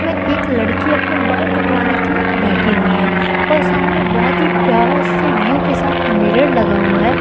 में एक लड़की अपने बाल कटवाने के लिए बैठी हुई है और सामने बहोत ही प्यारा इस व्यू के साथ मिरर लगा हुआ है।